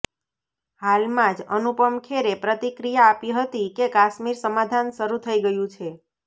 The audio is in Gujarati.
હાલમાં જ અનુપમ ખેરે પ્રતિક્રિયા આપી હતી કે કાશ્મીર સમાધાન શરૂ થઈ ગયું છે